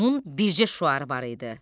Onun bircə şüarı var idi.